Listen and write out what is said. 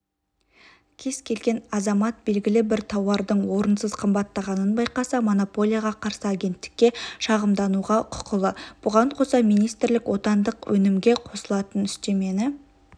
кез келген азамат белгілі бір тауардың орынсыз қымбаттағанын байқаса монополияға қарсы агенттікке шағымдануға құқылы бұған қоса министрлік отандық өнімге қосылатын үстемені